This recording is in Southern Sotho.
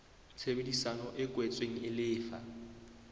tshebedisano e kwetsweng e lefa